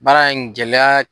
Baara in gɛlɛya